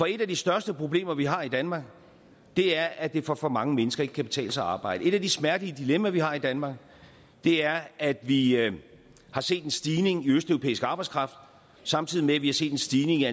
et af de største problemer vi har i danmark er at det for for mange mennesker ikke kan betale sig at arbejde et af de smertelige dilemmaer vi har i danmark er at vi at vi har set en stigning i østeuropæisk arbejdskraft samtidig med at vi har set en stigning i